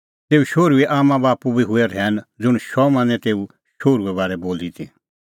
तेऊ शोहरूए आम्मांबाप्पू बी हुऐ रहैन ज़ुंण शमौनै तेऊ शोहरूए बारै बोली ती